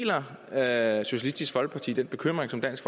er deler socialistisk folkeparti den bekymring som dansk